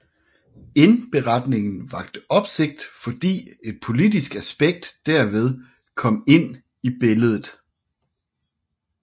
Indberetningen vakte opsigt fordi et politisk aspekt derved kom ind i billedet